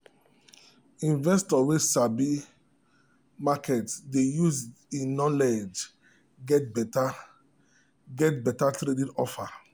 investor wey sabi market dey use e knowledge get better get better trading offer.